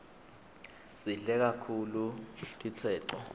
sidle kaktulu titseco